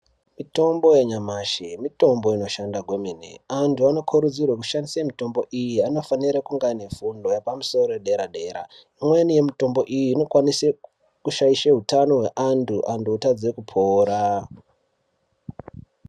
Mitombo yanyamashi mitombo inoshanda kwemene antu anokurudzirwa kushandisa mitombo iyi anofana kunge ane fundo yepamusoro yedera dera imweni yemitombo iyi inokwanisa kushatisa hutano hweantu antu otadza kupora.